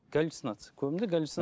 галюцинация көбінде галюцинация